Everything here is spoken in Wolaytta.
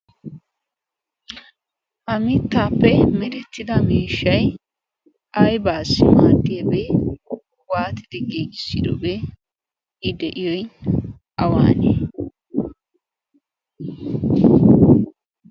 ha mittaappe merettida miishshai aibaas maattiyaabee waatidi giiissidobee i de'iyoy awaanee?